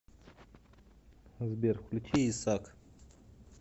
сбер включи исак